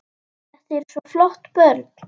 Þetta eru svo flott börn.